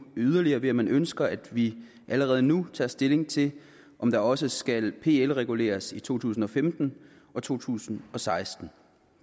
yderligere ved at man ønsker at vi allerede nu tager stilling til om der også skal blive pl reguleres i to tusind og femten og to tusind og seksten